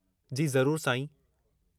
जी ज़रूरु, साईं।